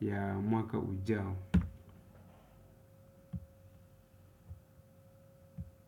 ya mwaka ujao.